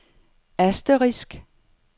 asterisk